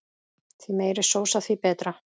Því meiri sósa því betra.